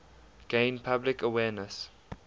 gain public awareness